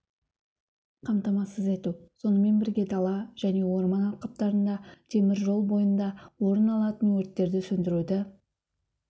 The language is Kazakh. қамтамасыз ету сонымен бірге дала және орман алқаптарында темір жол бойында орын алатын өрттерді сөндіруді